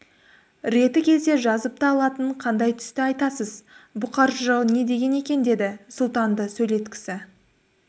реті келсе жазып та алатын қандай түсті айтасыз бұқар жырау не деген екен деді сұлтанды сөйлеткісі